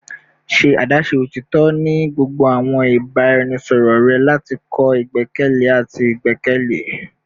Ṣe adaṣe otitọ ni gbogbo awọn ibaraẹnisọrọ rẹ lati kọ igbẹkẹle ati igbẹkẹle